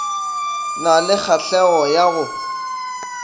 na le kgahlego ya go